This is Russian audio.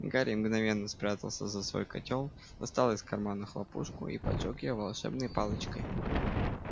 гарри мгновенно спрятался за свой котёл достал из кармана хлопушку и поджёг её волшебной палочкой